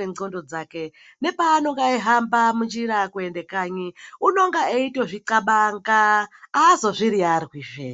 mundxondo dzake. Nepaanohamba munjira eiende kanyi, unotozvixabanga, aazozviriyarwizve.